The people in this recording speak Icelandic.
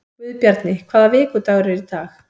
Guðbjarni, hvaða vikudagur er í dag?